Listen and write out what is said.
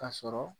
Ka sɔrɔ